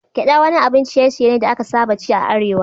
Gyaɗa wani abun ciye-ciye ne da aka saba ci a Arewa.